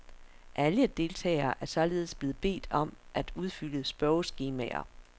Alle deltagere er således blevet bedt om at udfylde spørgeskemaer.